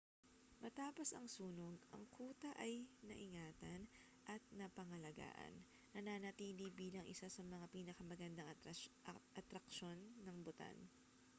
matapos ang sunog ang kuta ay naingatan at napangalagaan nananatili bilang isa sa mga pinakamagandang atraksyon ng bhutan